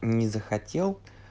не захотел